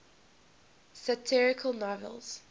satirical novels